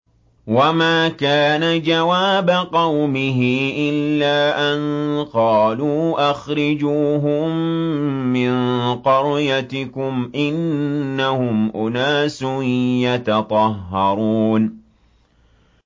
وَمَا كَانَ جَوَابَ قَوْمِهِ إِلَّا أَن قَالُوا أَخْرِجُوهُم مِّن قَرْيَتِكُمْ ۖ إِنَّهُمْ أُنَاسٌ يَتَطَهَّرُونَ